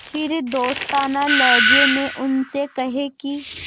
फिर दोस्ताना लहजे में उनसे कहें कि